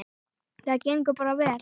Það gengur bara vel.